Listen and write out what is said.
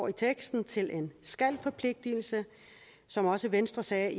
af teksten til en skal forpligtelse som også venstre sagde